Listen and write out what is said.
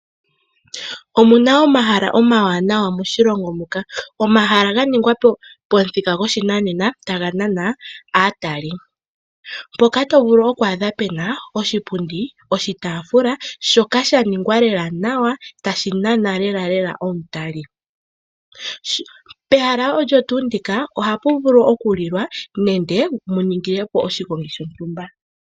Omuna omahala omawanawa moshilongo muka. Omahala ga ningwa pomuthika goshinanena taga nana aatali. Mpoka to vulu okwaadha pena oshipundi, oshitafula shoka sha ningwa lela nawa tashi nana lelalela omutali. Pehala olyo tuu ndika ohapu vulu okulilwa, nenge mu ningile po oshigongi shontumba.